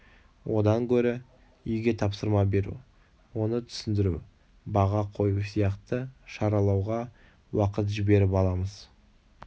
одан гөрі үйге тапсырма беру оны түсіндіру баға қою сияқты шаралауға уақыт жіберіп аламыз